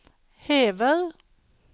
hever